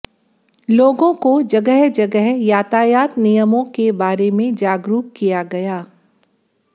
लोगों को जगह जगह यातायात नियमों के बारे मैं जागरूक किया गया